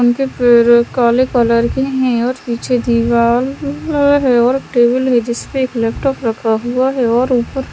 उनके पेड़ काले कलर के है और पीछे दीवाल और टेबल है जिसपे एक लैपटॉप रखा हुआ है और ऊपर--